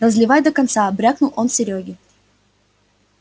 разливай до конца брякнул он серёге